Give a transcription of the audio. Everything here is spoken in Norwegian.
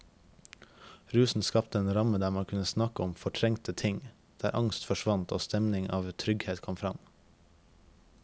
Rusen skapte en ramme der man kunne snakke om fortrengte ting, der angst forsvant og en stemning av trygghet kom fram.